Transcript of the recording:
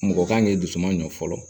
Mɔgɔ kan k'i dusu ma ɲɔ fɔlɔ